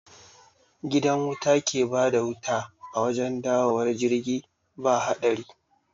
Gidan wuta ke bada wuta a wajen dawowar jirgi ba haɗari